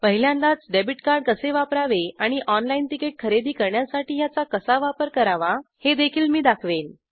पहिल्यांदाच debit card कसे वापरावे आणि ऑनलाईन तिकीट खरेदी करण्यासाठी ह्याचा कसा वापर करावा हे देखील मी दाखवेन